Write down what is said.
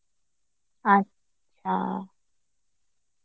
আচ্ছা